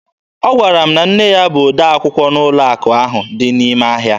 Ọ gwara m na nne ya bụ odee akwụkwọ n'ụlọ akụ ahụ dị n'ime ahịa